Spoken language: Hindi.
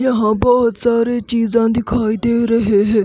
यहां बहोत सारे चीज़ां दिखाई दे रहे है।